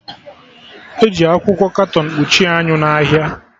Eji akwụkwọ katọn kpuchie anyị n'ahịa